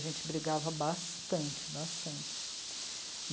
A gente brigava bastante, bastante.